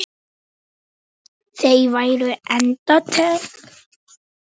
Þau væru enda tengd.